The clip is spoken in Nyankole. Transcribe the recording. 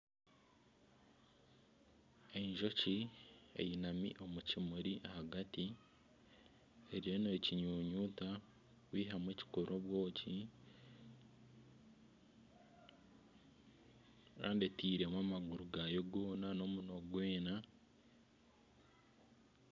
Enjoki eyinami omu kimuri ahagati eriyo nekinyunyuta kwihamu ekirikukora obwoki Kandi etiiremu amaguru gaayo goona n'omunwa gwayo gwona